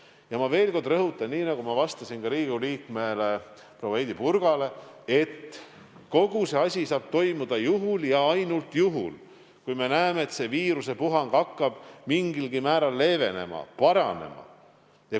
Ja ma veel kord rõhutan, nii nagu ma vastasin Riigikogu liikmele proua Heidy Purgale, et kogu see asi saab toimuda ainult juhul, kui me näeme, et viirusepuhang hakkab mingilgi määral leevenema-paranema.